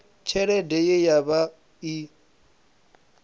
tshelede ye ya vha i